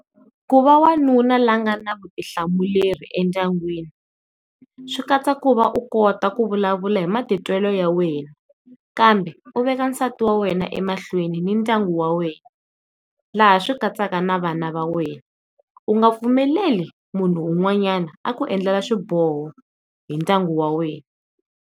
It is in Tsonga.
Hikuva wanuna lowa a nga na vutihlamuleri entlangwini swi katsa ku va u kota ku vulavula hi matitwelo ya wena, kambe u veka nsati wa wena ematiko mahlweni ni ndyangu wa wena laha swi katsaka na vana va wena u nga pfumeleli munhu un'wanyana a ku endlela swiboho hi ndyangu wa wena.